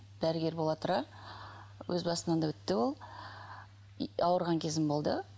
дәрігер бола тұра өз басымнан да өтті ол ауырған кезім болды